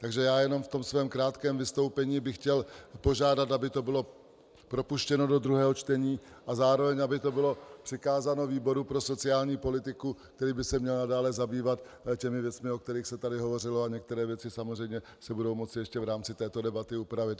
Takže já jenom v tom svém krátkém vystoupení bych chtěl požádat, aby to bylo propuštěno do druhého čtení a zároveň aby to bylo přikázáno výboru pro sociální politiku, který by se měl dále zabývat těmi věcmi, o kterých se tady hovořilo, a některé věci samozřejmě se budou moci ještě v rámci této debaty upravit.